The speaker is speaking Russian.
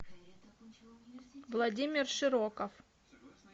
владимир широков